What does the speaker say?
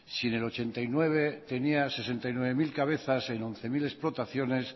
si en el ochenta y nueve tenía sesenta y nueve mil cabezas en once mil explotaciones